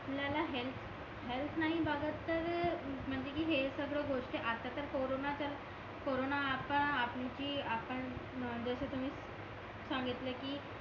आपल्याला health health नाही बघत तर महाजनकी हे सगळं गोष्टी आता तर कॉरोन चला कॉरोन आता आमची आपण जी जस तुम्ही सांगीतिल कि